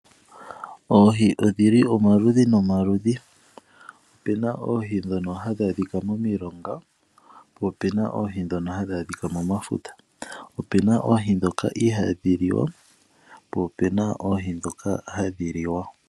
Oohi odhili omaludhi nomaludhi, opena oohi dhoka hadhi adhika momilonga, po opena oohi dhoka hadhi adhika momafuta. Opena oohi dhoka ihadhi liwa, po opena oohi dhoka hadhi liwa.